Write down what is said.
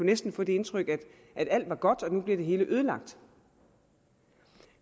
næsten få det indtryk at alt er godt og nu bliver det hele ødelagt